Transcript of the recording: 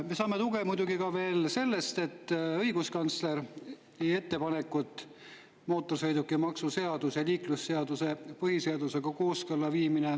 Me saame tuge muidugi ka veel sellest, et õiguskantsler teeb ettepaneku mootorsõidukimaksu seaduse ja liiklusseaduse põhiseadusega kooskõlla viimiseks.